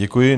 Děkuji.